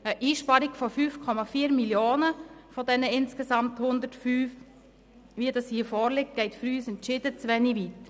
Eine Einsparung von 5,4 Mio. Franken von diesen insgesamt 105 Mio. Franken, so wie sie bei diesem Antrag vorliegt, geht für uns entschieden zu wenig weit.